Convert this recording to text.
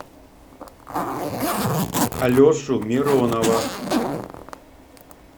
алешу миронова